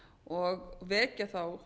og vekja þá